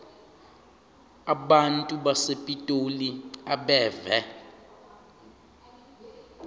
abantu basepitoli abeve